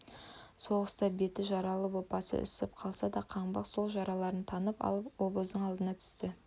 соғыста беті жаралы боп басы ісіп қалса да қанбақ сол жараларын танып алып обоздың алдына түсті